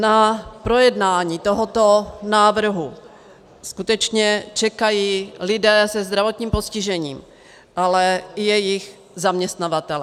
Na projednání tohoto návrhu skutečně čekají lidé se zdravotním postižením, ale i jejich zaměstnavatelé.